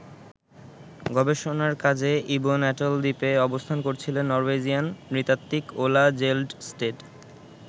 গবেষণার কাজে Ebon atoll দ্বীপে অবস্থান করছিলেন নরওয়েজিয়ান নৃতাত্ত্বিক ওলা জেলডস্টেড।